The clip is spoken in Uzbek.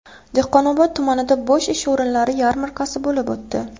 Dehqonobod tumanida bo‘sh ish o‘rinlari yarmarkasi bo‘lib o‘tdi.